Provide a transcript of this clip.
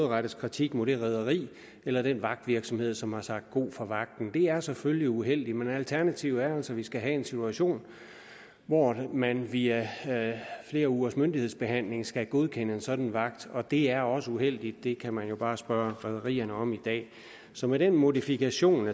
rettes kritik mod det rederi eller den vagtvirksomhed som har sagt god for vagten det er selvfølgelig uheldigt men alternativet er altså at vi skal have en situation hvor man via flere ugers myndighedsbehandling skal godkende en sådan vagt og det er også uheldigt det kan man jo bare spørge rederierne om i dag så med den modifikation